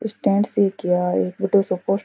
stand सी क है क्या एक बड़ो सो पो --